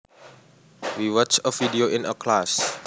We watched a video in class